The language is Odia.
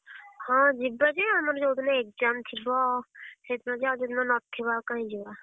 ହଁ ଯିବା ଯେ ଆମର ଯୋଉ ଦିନ exam ଥିବ ସେଇଦିନ ଯିବା ଆଉ ଯୋଉ ଦିନ ନଥିବ ଆଉ କାଇଁ ଯିବା?